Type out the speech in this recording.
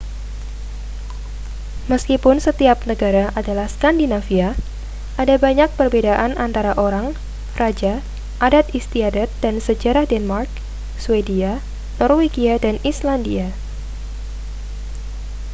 meskipun setiap negara adalah skandinavia' ada banyak perbedaan antara orang raja adat istiadat dan sejarah denmark swedia norwegia dan islandia